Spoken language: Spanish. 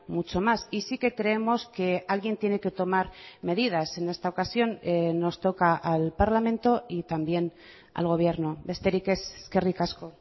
mucho más y sí que creemos que alguien tiene que tomar medidas en esta ocasión nos toca al parlamento y también al gobierno besterik ez eskerrik asko